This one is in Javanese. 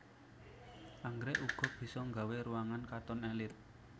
Anggrèk uga bisa nggawé ruangan katon èlit